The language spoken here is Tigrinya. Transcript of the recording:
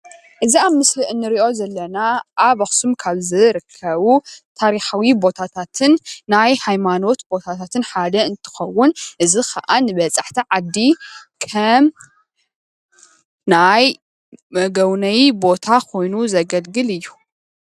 እዚ ኣብ ምስሊ ንሪኦ ዘለና ኣብ ኣኽሱም ካብ ዝርከቡ ታሪኻዊ ቦታታትን ናይ ሃይማኖት ቦታታትን ሓደ እንትኸውን እዚ ከዓ ንበፃሕቲ ዓዲ ከም ናይ መጎብነዪ ቦታ ኮይኑ ዘገልግል እዩ፡፡